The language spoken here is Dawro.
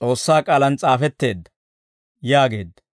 S'oossaa K'aalaan s'aafetteedda» yaageedda.